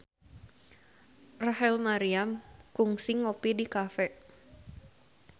Rachel Maryam kungsi ngopi di cafe